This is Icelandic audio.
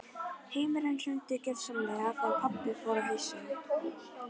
Heimurinn hrundi gjörsamlega þegar pabbi fór á hausinn.